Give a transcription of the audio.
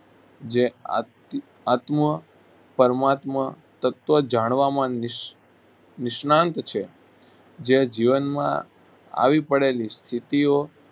જે આત આત્મ પરમાત્મ તત્વ જાણવામાં નિષ નિષ્ણાત છે જે જીવનમાં આવી પડેલી સ્થિતિઓ